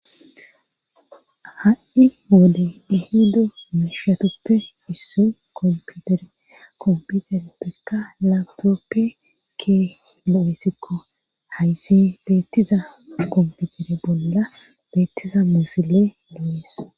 Ha7i moode dihido meshatuppe issu kompiutere kompiutere pekka lapoppe ke lo7essikko hayssi beettiza kompitere bolla beettiza musile lo7es